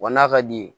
Wa n'a ka di ye